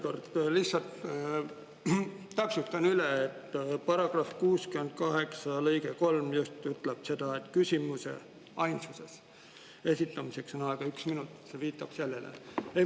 Jah, ma lihtsalt täpsustan veel üle, et § 68 lõige 3 ütleb just seda, et küsimuse – ainsuses – esitamiseks on aega üks minut, ja viitab sellele.